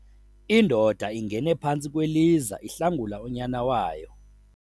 Indoda ingene phantsi kweliza ihlangula unyana wayo.